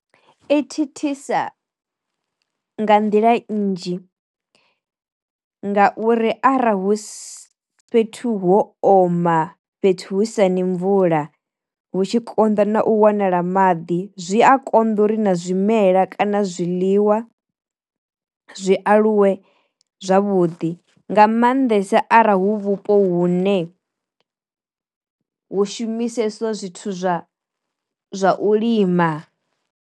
I thithisa nga nḓila nnzhi, nga uri ara husi fhethu ho oma fhethu hu sa ni mvula hu tshi konḓa na u wanala maḓi zwi a konḓa uri na zwimela kana zwiḽiwa zwi aluwe zwavhuḓi nga maanḓesa ara hu vhupo hune hu shumisesiwa zwithu zwa zwa u lima.